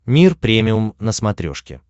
мир премиум на смотрешке